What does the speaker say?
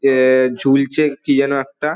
এএএ ঝুলছে কি জানো একটা।